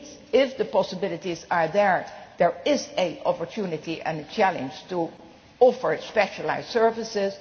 If the possibilities are there, there is an opportunity and a challenge to offer specialised services.